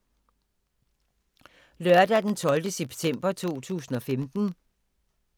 Lørdag d. 12. september 2015